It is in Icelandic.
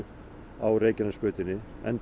á Reykjanesbrautinni